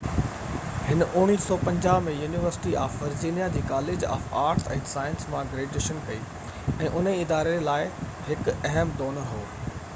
هِن 1950 ۾ university of Virginia جي college of arts ۽ sciences مان graduation ڪئي ۽ انهي اداري لاءِ هڪ اهم ڊونر هو